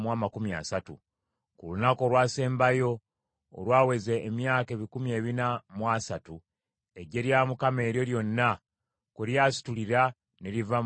Ku lunaku olwasembayo olwaweza emyaka ebikumi ebina mu asatu, eggye lya Mukama eryo lyonna kwe lyasitulira ne liva mu nsi y’e Misiri.